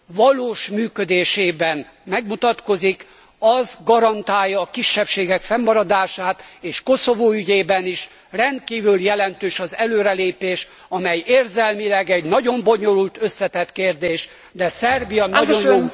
valós működésében megmutatkozik, az garantálja a kisebbségek fennmaradását, és Koszovó ügyében is rendkívül jelentős az előrelépés, amely érzelmileg egy nagyon bonyolult, összetett kérdés, de Szerbia nagyon jó úton halad